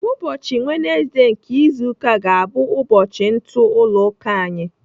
Ụbọchị wenezdee nke izu ụka ga-abụ ụbọchị ntụ ụlọ ụka anyị.